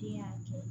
Den y'a kɛ